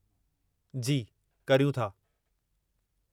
जी, करियूं था।